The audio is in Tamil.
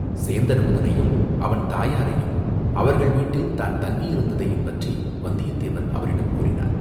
சேந்தன் அமுதனையும், அவன் தாயாரையும், அவர்கள் வீட்டில் தான் தங்கியிருந்ததையும் பற்றி வந்தியத்தேவன் அவரிடம் கூறினான்.